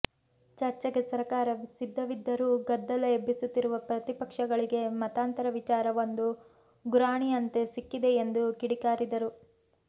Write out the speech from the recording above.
ಚರ್ಚೆಗೆ ಸರಕಾರ ಸಿದ್ಧವಿದ್ದರೂ ಗದ್ದಲ ಎಬ್ಬಿಸುತ್ತಿರುವ ಪ್ರತಿಪಕ್ಷಗಳಿಗೆ ಮತಾಂತರ ವಿಚಾರ ಒಂದು ಗುರಾಣಿಯಂತೆ ಸಿಕ್ಕಿದೆ ಎಂದು ಕಿಡಿಕಾರಿದರು